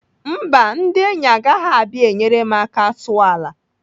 Mba, ndị enyi agaghị abịa enyere m aka sụọ ala.